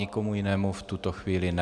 Nikomu jinému v tuto chvíli ne.